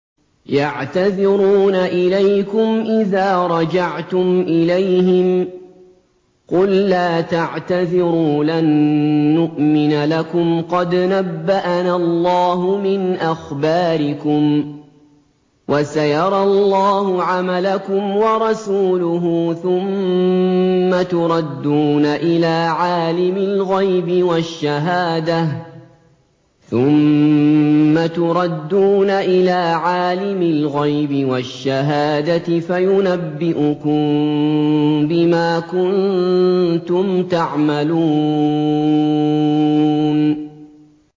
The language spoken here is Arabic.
يَعْتَذِرُونَ إِلَيْكُمْ إِذَا رَجَعْتُمْ إِلَيْهِمْ ۚ قُل لَّا تَعْتَذِرُوا لَن نُّؤْمِنَ لَكُمْ قَدْ نَبَّأَنَا اللَّهُ مِنْ أَخْبَارِكُمْ ۚ وَسَيَرَى اللَّهُ عَمَلَكُمْ وَرَسُولُهُ ثُمَّ تُرَدُّونَ إِلَىٰ عَالِمِ الْغَيْبِ وَالشَّهَادَةِ فَيُنَبِّئُكُم بِمَا كُنتُمْ تَعْمَلُونَ